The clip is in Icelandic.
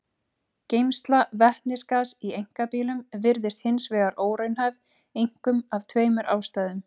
Geymsla vetnisgass í einkabílum virðist hins vegar óraunhæf einkum af tveimur ástæðum.